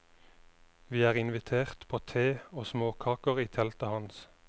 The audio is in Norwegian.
Vi er invitert på te og småkaker i teltet hans.